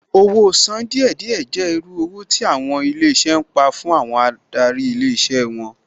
Owó sán díẹ̀ díẹ̀ jẹ́ irú owó tí àwọn ilé iṣẹ́ ń pa fún àwọn adarí ilé iṣẹ́ wọn